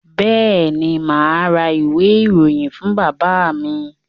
Bẹ́ẹ̀ ni, mà á ra ìwé-ìròyìn fún bàbá mi.